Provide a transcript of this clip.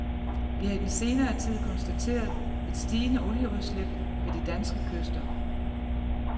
Vi har i den senere tid konstateret et stigende olieudslip ved de danske kyster.